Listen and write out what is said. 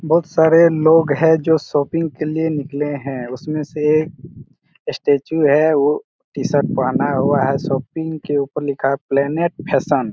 बहुत सारे लोग है जो शॉपिंग के लिए निकले है उसमे से स्टेचू है वो टी-शर्ट पहना हुआ शॉपिंग के ऊपर लिखा हैं प्लानेट फैशन --